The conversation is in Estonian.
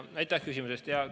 Aitäh küsimuse eest!